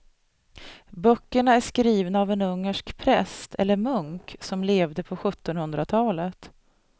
Böckerna är skrivna av en ungersk präst eller munk som levde på sjuttonhundratalet.